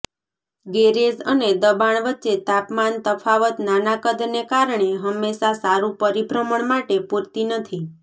garage અને દબાણ વચ્ચે તાપમાન તફાવત નાના કદને કારણે હંમેશાં સારું પરિભ્રમણ માટે પૂરતી નથી